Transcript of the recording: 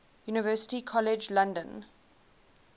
university college london